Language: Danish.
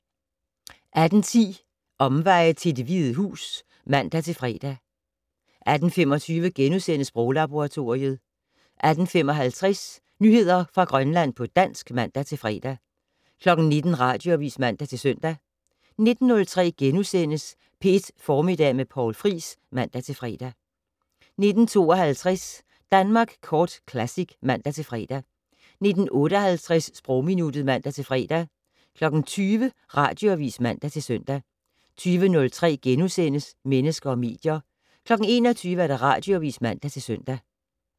18:10: Omveje til Det Hvide Hus (man-fre) 18:25: Sproglaboratoriet * 18:55: Nyheder fra Grønland på dansk (man-fre) 19:00: Radioavis (man-søn) 19:03: P1 Formiddag med Poul Friis *(man-fre) 19:52: Danmark Kort Classic (man-fre) 19:58: Sprogminuttet (man-fre) 20:00: Radioavis (man-søn) 20:03: Mennesker og medier * 21:00: Radioavis (man-søn)